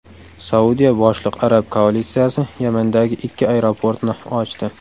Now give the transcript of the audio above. Saudiya boshliq arab koalitsiyasi Yamandagi ikki aeroportni ochdi.